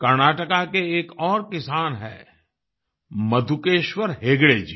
कर्नाटक के एक और किसान हैं मधुकेश्वर हेगड़े जी